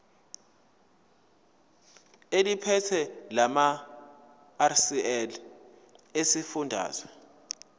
eliphethe lamarcl esifundazwe